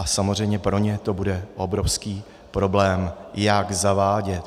A samozřejmě pro ně to bude obrovský problém, jak zavádět.